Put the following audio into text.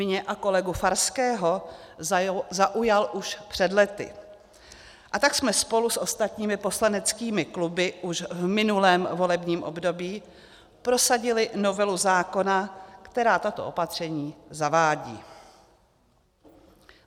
Mě a kolegu Farského zaujal už před lety, a tak jsme spolu s ostatními poslaneckými kluby už v minulém volebním období prosadili novelu zákona, která tato opatření zavádí.